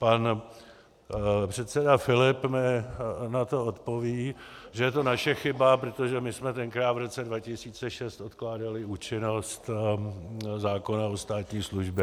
Pan předseda Filip mi na to odpoví, že je to naše chyba, protože my jsme tenkrát v roce 2006 odkládali účinnost zákona o státní službě.